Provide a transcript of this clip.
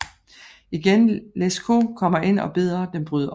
Igen Lescaut kommer ind og beder dem bryde op